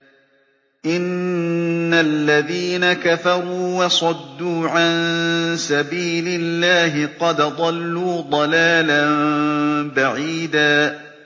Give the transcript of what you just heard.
إِنَّ الَّذِينَ كَفَرُوا وَصَدُّوا عَن سَبِيلِ اللَّهِ قَدْ ضَلُّوا ضَلَالًا بَعِيدًا